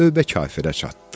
Növbə kafirə çatdı.